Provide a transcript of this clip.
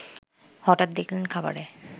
হঠাৎ দেখলেন খাবারে